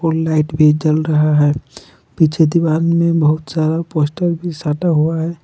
Light भी जल रहा है पीछे दीवार में बहुत सारा पोस्टर भी सटा हुआ है।